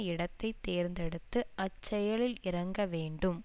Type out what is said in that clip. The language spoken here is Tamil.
இடத்தை தேர்ந்தெடுத்து அச்செயலில் இறங்க வேண்டும்